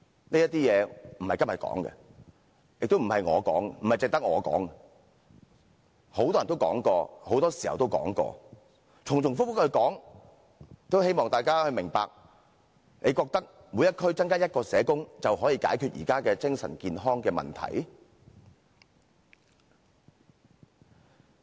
這些事並非今天提出，亦不是只有我提出，很多人都說過，很多時候都說過，重重複複地提出，只是希望大家明白，你認為在每區增加1名社工便能解決現時精神健康的問題嗎？